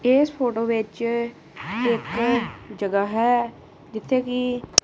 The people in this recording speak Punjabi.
ਇਸ ਫੋਟੋ ਵਿੱਚ ਇੱਕ ਜਗ੍ਹਾ ਹੈ ਜਿੱਥੇ ਕਿ--